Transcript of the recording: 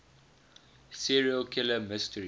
serial killer mystery